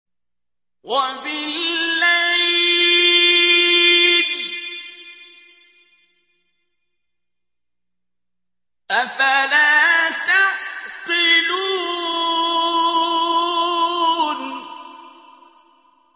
وَبِاللَّيْلِ ۗ أَفَلَا تَعْقِلُونَ